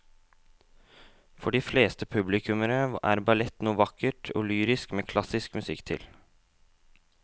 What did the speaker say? For de fleste publikummere er ballett noe vakkert og lyrisk med klassisk musikk til.